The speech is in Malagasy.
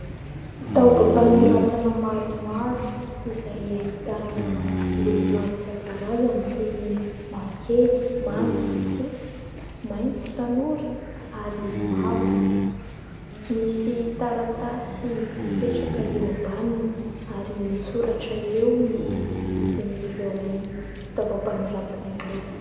Fitaovam-panoratana maromaro izay ahitana loko maro isan-karazany toy ny : mavokely, manga, fotsy, maitso tanora ary mavo ; misy taratasy mipetraka eo ambaniny ary misoratra eo ny vidin'ireo fitaovam-panoratana ireo.